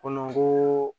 Ko ko